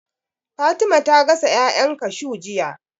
Fatima ta gasa ƴaƴan kashuw jiya